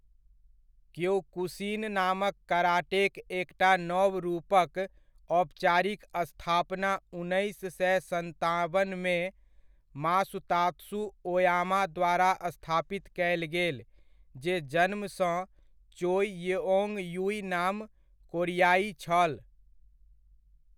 Kyokushin नामक कराटेक एकटा नव रूपक औपचारिक स्थापना उन्नैस सए सताबनमे मासुतात्सु ओयामा द्वारा स्थापित कयल गेल, जे जन्मसँ चोइ येओन्ग यूइ नाम कोरियाइ छल।